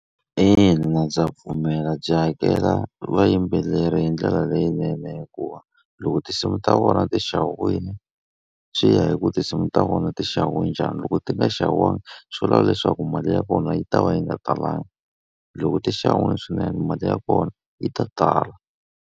Ina ndza pfumela byi hakela vayimbeleri hi ndlela leyinene hikuva loko tinsimu ta vona ti xaviwile, swi ya hi ku tinsimu ta vona ti xaviwe njhani. Loko ti nga xaviwanga swi vula leswaku mali ya kona yi ta va yi nga talanga. Loko ti xaviwile swinene mali ya kona yi ta tala.